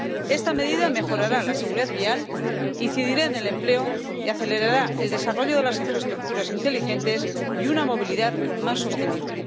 Esta medida mejorará la seguridad vial, incidirá en el empleo y acelerará el desarrollo de las infraestructuras inteligentes y una movilidad más sostenible.